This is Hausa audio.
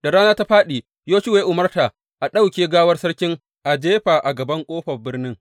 Da rana ta fāɗi, Yoshuwa ya umarta a ɗauke gawar sarkin a jefa a gaban ƙofar birnin.